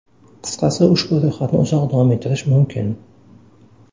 Qisqasi ushbu ro‘yxatni uzoq davom ettirish mumkin.